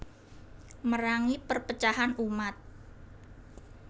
Merangi perpecahan umat